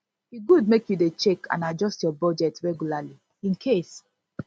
e good make you dey check and adjust your budget regularly incase